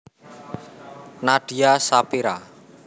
Nadia Saphira